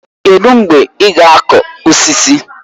Kedụ mgbe ị ga-akụ osisi?